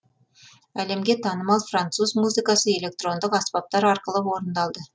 әлемге танымал француз музыкасы электрондық аспаптар арқылы орындалды